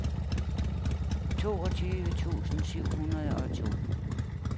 toogtyve tusind syv hundrede og to